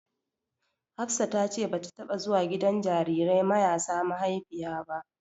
Hafsa ta ce bata taɓa zuwa gidan jarirai mayasa maihaifiya ba.